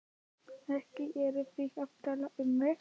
Ekki eruð þið að tala um mig?